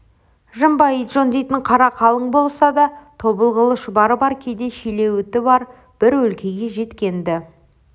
жымба итжон дейтін қары қалың болса да тобылғылы шұбары бар кейде шилеуіті бар бір өлкеге жеткен-ді